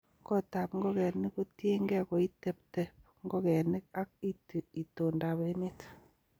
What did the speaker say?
kotab ngokenik kotienge koiteteb ngokenik ak itondab emet